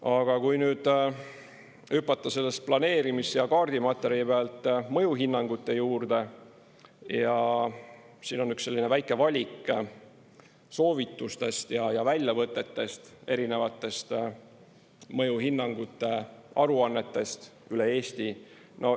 Aga kui nüüd hüpata planeerimis- ja kaardimaterjali pealt mõjuhinnangute juurde, siin on üks selline väike valik soovitustest ja väljavõtetest erinevatest mõjuhinnangute aruannetest üle Eesti.